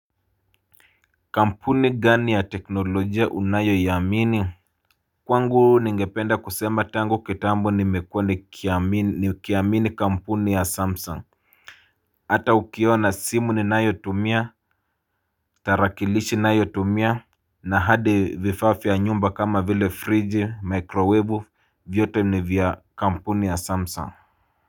Kampuni gani ya teknolojia unayo ya mini Kwangu ningependa kusema tango ketambo nimekuwa ni kiamini kampuni ya samsung Hata ukiona simu ni nayo tumia, tarakilishi nayo tumia na hadi vifaa vya nyumba kama vile fridge microwave vyote ni vya kampuni ya samsung.